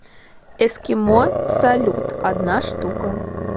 эскимо салют одна штука